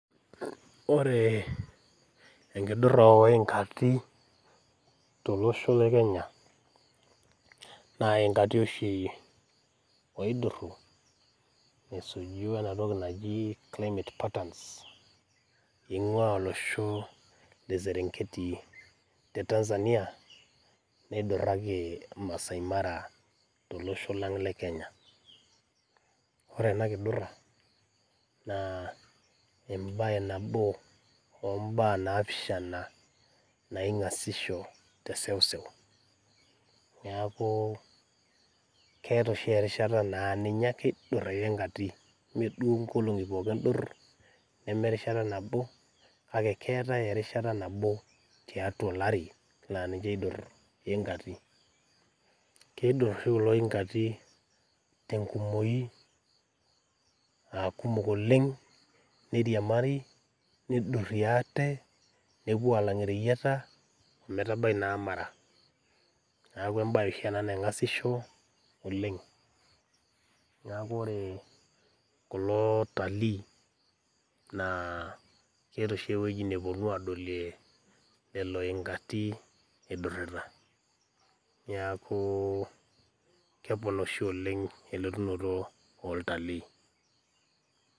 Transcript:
Oree enkidurra ooingati tolosho le Kenya naaingati oshii ooidurru esuji oenatoki naji climate patterns eing'uaa olosho le Serengeti te Tanzania, neidurraki Masai Mara tolosho lang' le kenya. Ore ena kidurra naa embaye nabo oombaa naapishana naing'asisho teseuseu. Neakuu keeta oshi erishata naa ninye ake eidurr oingati meeduo nkolong'i pooki eidurr neme erishata nabo kake keetai erishata nabo tatua olari laaninche eidurr iingati. Keidurr sii kulo ingati tengumoi aakumok oleng' neiriamari neidurrie ate nepuo aalang' ireyieta ometabai naa Mara. Neaku embaye oshi ena naing'asisho oleng' neaku oree kuloo otalii naa keata oshi epueji nepuonu adolie lelo ingati eidurrita neakuu kegol oshi oleng' elotunoto oltalii.